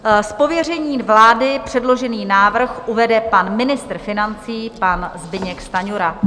Z pověření vlády předložený návrh uvede pan ministr financí, pan Zbyněk Stanjura.